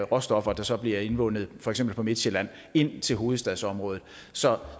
råstoffer der så bliver indvundet for eksempel på midtsjælland ind til hovedstadsområdet så